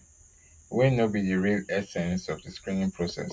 wey no be di real essence of di screening process